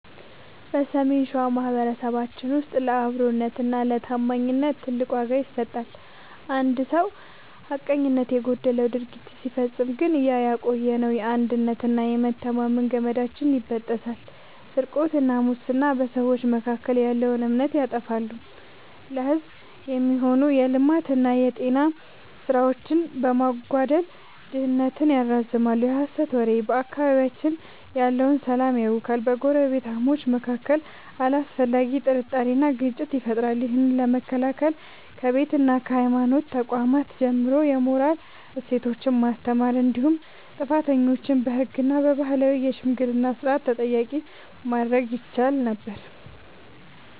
በሰሜን ሸዋ ማኅበረሰባችን ውስጥ ለአብሮነትና ለታማኝነት ትልቅ ዋጋ ይሰጣል። አንድ ሰው ሐቀኝነት የጎደለው ድርጊት ሲፈጽም ግን ያ የቆየው የአንድነትና የመተማመን ገመዳችን ይበጠሳል። ስርቆትና ሙስና፦ በሰዎች መካከል ያለውን እምነት ያጠፋሉ፤ ለሕዝብ የሚሆኑ የልማትና የጤና ሥራዎችን በማስተጓጎል ድህነትን ያራዝማሉ። የሐሰት ወሬ፦ በአካባቢያችን ያለውን ሰላም ያውካል፤ በጎረቤታማቾች መካከል አላስፈላጊ ጥርጣሬንና ግጭትን ይፈጥራል። ይህን ለመከላከል ከቤትና ከሃይማኖት ተቋማት ጀምሮ የሞራል እሴቶችን ማስተማር እንዲሁም ጥፋተኞችን በሕግና በባህላዊ የሽምግልና ሥርዓት ተጠያቂ ማድረግ ይቻል ነበር።